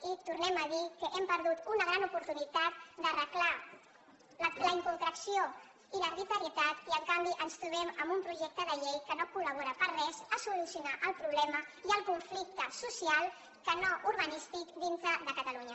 i tornem a dir que hem perdut una gran oportunitat d’arreglar la inconcreció i l’arbitrarietat i en canvi ens trobem amb un projecte de llei que no col·labora per res a solucionar el problema i el conflicte social que no urbanístic dintre de catalunya